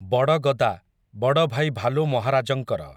ବଡ଼ ଗଦା, ବଡ଼ଭାଇ ଭାଲୁ ମହାରାଜଙ୍କର ।